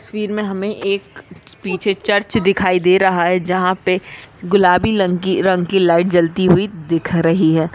तस्वीर मे हमे एक पीछे चर्च दिखाई दे रही है जहा पे गुलाबी लंग रंग की लाइट जलती हुई दिख रही है।